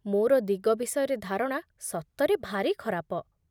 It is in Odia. ମୋର ଦିଗ ବିଷୟରେ ଧାରଣା ସତରେ ଭାରି ଖରାପ